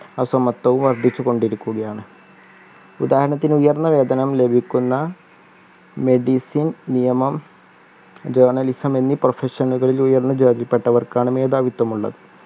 അസമത്വവും വർദ്ധിച്ചു കൊണ്ടിരിക്കുകയാണ് ഉദാഹരണത്തിന് ഉയർന്ന വേതനം ലഭിക്കുന്ന medicine നിയമം journalism എന്നീ profession നുകളിലെയുള്ള ജോലിയിൽപ്പെട്ടവർക്കാണ് മേധാവിത്വം ഉള്ളത്